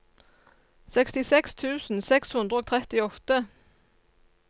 sekstiseks tusen seks hundre og trettiåtte